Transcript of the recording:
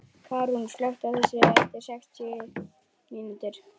Karún, slökktu á þessu eftir sextíu mínútur.